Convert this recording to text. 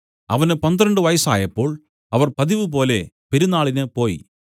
അവന് പന്ത്രണ്ട് വയസ്സായപ്പോൾ അവർ പതിവുപോലെ പെരുന്നാളിന് പോയി